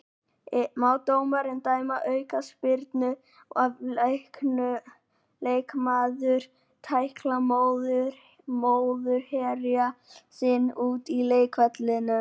Má dómari dæma aukaspyrnu ef leikmaður tæklar mótherja sinn út af leikvellinum?